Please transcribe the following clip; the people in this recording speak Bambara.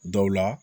Dɔw la